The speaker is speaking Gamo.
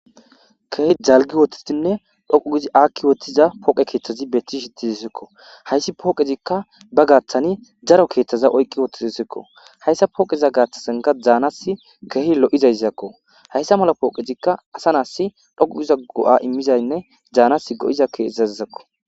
Keh jalgi wootitinne dhoqu gizi aakki wothtiza poqe keeththazi beetti shitizisekko hayssi pooqezikka ba gaaththani daro keeththaza oyqqi wottizisekko hayssa pooqeza gaaththasanka daanas keehi lo'zayzakko hayssa mala pooqezikka asa naassi dhoqu giza go'a immizaynne jaanas go'za keezazizakko.